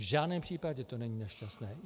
V žádném případě to není nešťastné.